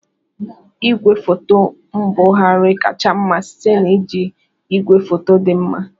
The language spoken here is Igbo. Igwefoto mbugharị kacha mma site na iji igwefoto dị mma.